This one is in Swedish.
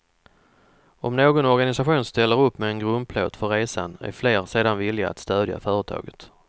Om någon organisation ställer upp med en grundplåt för resan är fler sedan villiga att stödja företaget.